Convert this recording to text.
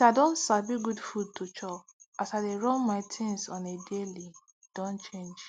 since i don sabi good food to chop as i dey run my things on a daily don change